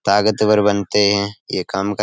ताकतवर बनते हैं। ये काम कर --